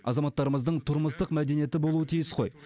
азаматтарымыздың тұрмыстық мәдениеті болуы тиіс қой